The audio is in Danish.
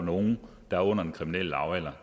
nogle der er under den kriminelle lavalder